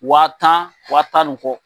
Wa tan wa tan ni kɔ.